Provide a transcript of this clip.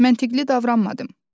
Məntiqli davranmadım.